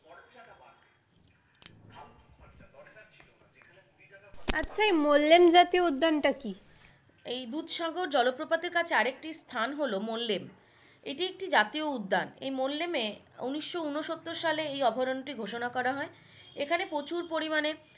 আচ্ছা এই মোল্লান জাতীয় উদ্যান টা কী?